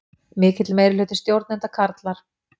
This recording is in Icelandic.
Mikill meirihluti stjórnenda karlar